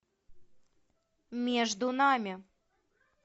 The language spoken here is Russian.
между нами